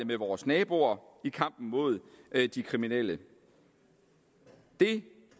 med vores naboer i kampen mod de kriminelle det